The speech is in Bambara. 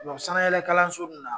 sanayɛlɛkalanso bi na